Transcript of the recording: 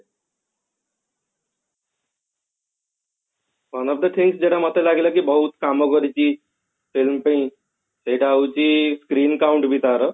one of the think ଯୋଉଟା ମତେ ଲାଗିଲା କି ବହୁତ କାମ କରିଛି film ପାଇଁ ସେଟା ହଉଛି screen count ତାର